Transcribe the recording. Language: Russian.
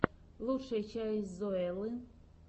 лучшая часть зоэллы